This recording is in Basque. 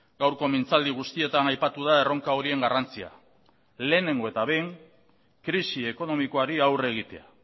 gaurko mintzaldi guztietan aipatu da erronka horien garrantzia lehenengo eta behin krisi ekonomikoari aurre egitea